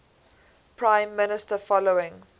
prime minister following